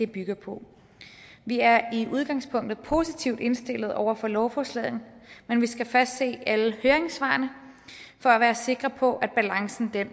bygger på vi er i udgangspunktet positivt indstillet over for lovforslaget men vi skal først se alle høringssvarene for at være sikker på at balancen